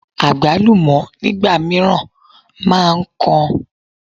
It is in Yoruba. Àgbálùmọ́ nígbà mìíràn máa ń kan.